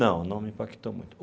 Não, não me impactou muito.